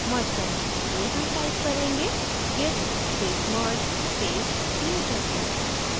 merge करने के लिए हम type करेंगे: git space merge space newchapter